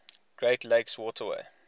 great lakes waterway